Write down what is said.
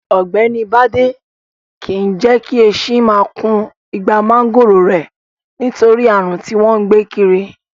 Ọ̀gbẹ́ni Bádé máa kìí jẹ́ kí esin máa kun igbá máńgòrò rẹ̀, nítorí ààrùn tí wọ́n gbé kiri.